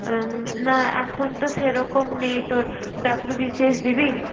উম না এখন তো সেরকম নেই তোর WBCS দিবি?